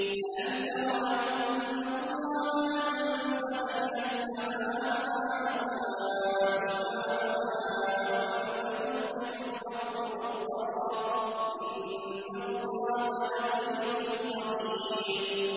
أَلَمْ تَرَ أَنَّ اللَّهَ أَنزَلَ مِنَ السَّمَاءِ مَاءً فَتُصْبِحُ الْأَرْضُ مُخْضَرَّةً ۗ إِنَّ اللَّهَ لَطِيفٌ خَبِيرٌ